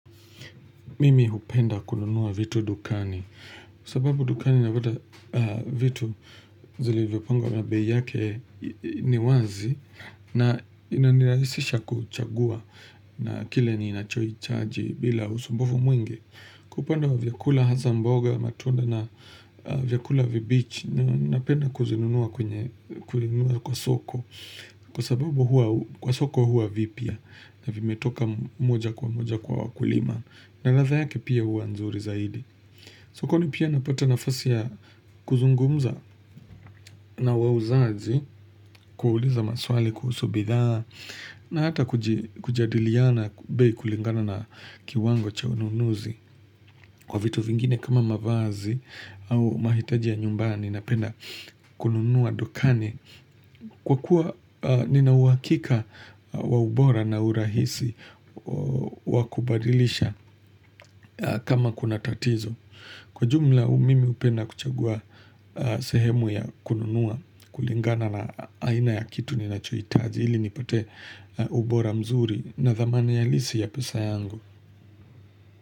Mimi hupenda kununua vitu dukani. Kwa sababu dukani napata vitu zilivyopangwa na bei yake ni wazi. Na inanirahisisha kuchagua na kile ni nachoichaji bila usumbufu mwingi. Kupanda wa vyakula hasa mboga matunda na vyakula vibichi. Napenda kuzinunua kwa soko. Kwa sababu hua kwa soko hua vipya. Na vimetoka moja kwa moja kwa wakulima. Na ladha yake pia hua nzuri zaidi. Sokoni pia napata nafasi ya kuzungumza na wauzaji kuuliza maswali kuhusu bidhaa na hata kujadiliana bei kulingana na kiwango cha ununuzi kwa vitu vingine kama mavazi au mahitaji ya nyumbani napenda kununua dukani. Kwa kuwa nina uhakika wa ubora na urahisi wakubadilisha kama kuna tatizo. Kwa jumla mimi hupenda kuchagua sehemu ya kununua kulingana na aina ya kitu ninachohitaji. Ili nipate ubora mzuri na thamani ya halisi ya pesa yangu.